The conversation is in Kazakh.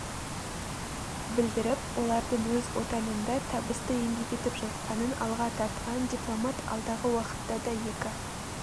білдіріп олардың өз отанында табысты еңбек етіп жатқанын алға тартқан дипломат алдағы уақытта да екі